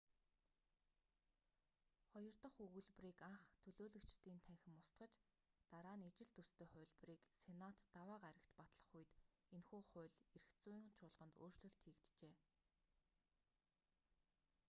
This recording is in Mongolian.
хоёр дах өгүүлбэрийг анх төлөөлөгчдийн танхим устгаж дараа нь ижил төстэй хувилбарыг сенат даваа гарагт батлах үед энэхүү хууль эрх зүйн чуулганд өөрчлөлт хийгджээ